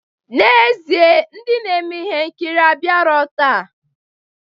N'ezie, ndị na-eme ihe nkiri abịarọ taa.